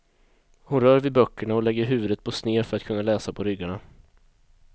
Hon rör vid böckerna och lägger huvudet på sned för att kunna läsa på ryggarna.